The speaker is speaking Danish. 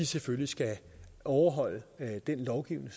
selvfølgelig skal overholde den lovgivning